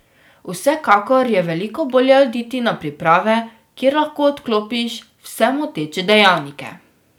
Vsekakor je veliko bolje oditi na priprave, kjer lahko odklopiš vse moteče dejavnike.